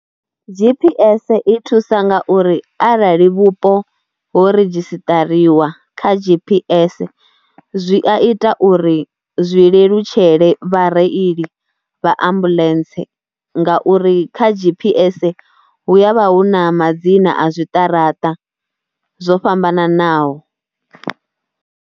G_P_S i thusa ngauri arali vhupo ho redzhistariwa kha G_P_S zwi a ita uri zwi lelutshele vhareili vha ambuḽentse ngauri kha G_P_S hu ya vha hu na madzina a zwiṱaraṱa zwo fhambananaho.